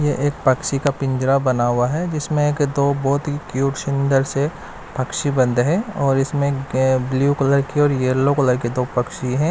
यह एक पक्षी का पिंजरा बना हुआ है जिसमें एक दो बहोत ही क्यूट सुंदर से पक्षी बंद है और इसमें ब्लू कलर की और यल्लो कलर के दो पक्षी हैं।